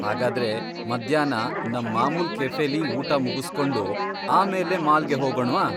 ಹಾಗಾದ್ರೆ ಮಧ್ಯಾಹ್ನ ನಮ್ ಮಾಮೂಲ್ ಕೆಫೆಲಿ ಊಟ ಮುಗುಸ್ಕೊಂಡು ಆಮೇಲೆ ಮಾಲ್ಗೆ ಹೋಗೋಣ್ವಾ?